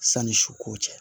Sanni su ko cɛ